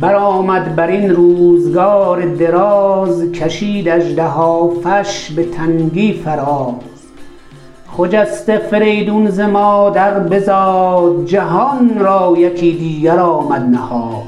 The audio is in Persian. برآمد برین روزگار دراز کشید اژدهافش به تنگی فراز خجسته فریدون ز مادر بزاد جهان را یکی دیگر آمد نهاد